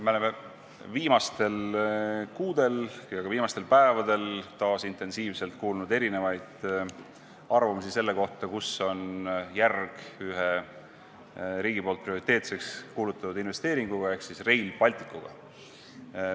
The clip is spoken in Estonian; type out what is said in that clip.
Me oleme viimastel kuudel ja ka viimastel päevadel taas intensiivselt kuulnud erinevaid arvamusi selle kohta, kus on tööjärg ühe riigi poolt prioriteetseks kuulutatud investeeringu ehk Rail Balticu puhul.